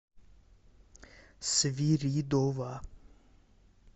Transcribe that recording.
свиридова